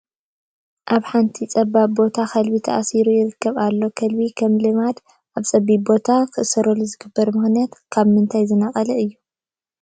ኣብ ሓንቲ ፀባብ ቦታ ከልቢ ተቐሚጡ ይርአ ኣሎ፡፡ ከልቢ ከም ልምዲ ኣብ ፀቢብ ቦታ ክእሰር ዝግበረሉ ምኽንያት ካብ ምንታይ ዝነቐለ እዩ?